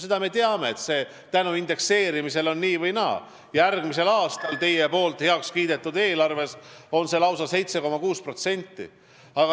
Seda me teame, et tänu indekseerimisele tõuseb pension nii või naa: järgmisel aastal kasvab see teie heakskiidetud eelarve järgi lausa 7,6%.